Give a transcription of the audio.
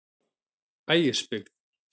Ægisbyggð